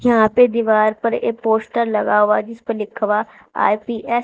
यहां पे दीवार पर एक पोस्टर लगा हुआ जिसपे लिखा हुआ आई_पी_एस ।